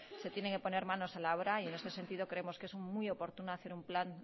se tienen que poner manos a la obra y en este sentido creemos que es muy oportuno hacer un plan